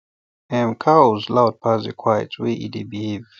em cows loud pass the quiet way e dey behave